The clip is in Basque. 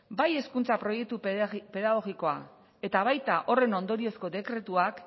bai hezkuntza proiektu pedagogikoa eta baita horren ondoriozko dekretuak